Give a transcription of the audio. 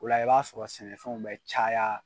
O la i b'a sɔrɔ sɛnɛfɛnw bɛ caya